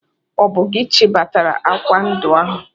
Ọ bụ gị chịbatara akwa ndi ahụ!